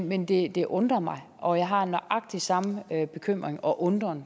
men det det undrer mig og jeg har nøjagtig den samme bekymring og undren